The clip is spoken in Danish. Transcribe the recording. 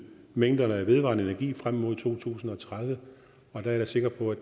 mængderne af vedvarende energi frem mod to tusind og tredive og der er jeg sikker på at